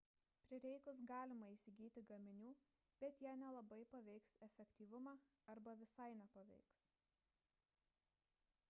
prireikus galima įsigyti gaminių bet jie nelabai paveiks efektyvumą arba visai nepaveiks